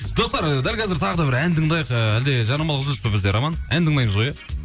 достар і дәл қазір тағы да бір ән тыңдайық ііі әлде жарнамалық үзіліс па бізде роман ән тыңдамыз ғой иә